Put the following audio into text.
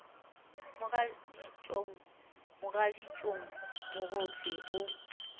mogaditšong mogaditšong mo gohle o